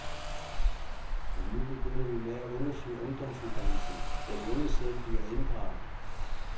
Men nu begynder vi med at undersøge ungdomsuddannelserne, hvor de unge selv bliver inddraget.